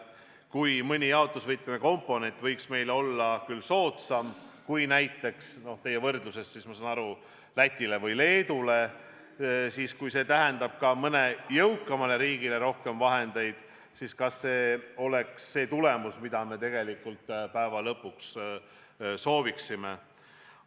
Kui mõni jaotusvõtme komponent on meile soodsam kui näiteks Lätile või Leedule, siis kas juhul, kui see tähendaks rohkem vahendeid ka mõnele jõukamale riigile, oleks tegemist tulemusega, mida me tegelikult päeva lõpuks soovime?